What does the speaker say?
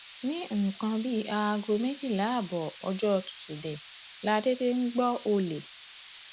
ní nǹkan bíi aago méjìlá ààbọ ọjọ tusidee la déédé ń gbọ ọlẹ